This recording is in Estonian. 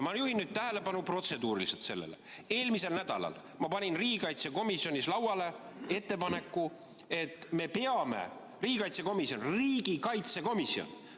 Ma juhin nüüd protseduuriliselt tähelepanu sellele: eelmisel nädalal ma panin riigikaitsekomisjonis lauale ettepaneku, et riigikaitsekomisjon – riigikaitsekomisjon!